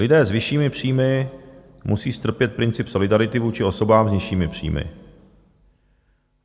Lidé s vyššími příjmy musí strpět princip solidarity vůči osobám s nižšími příjmy.